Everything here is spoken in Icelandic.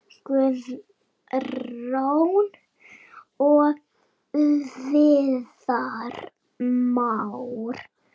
Guðrún og Viðar Már.